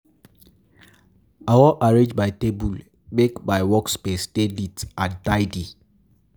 I wan arrange my table, um make my workspace dey neat and tidy.